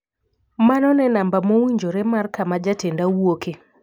Mano ne namba mowinjore mar kama jatenda wuoke.